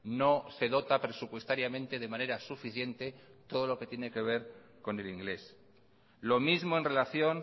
no se dota presupuestariamente de manera suficiente todo lo que tiene que ver con el inglés lo mismo en relación